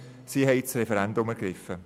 Sie haben das Referendum ergriffen.